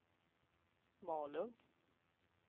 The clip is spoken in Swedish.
Malung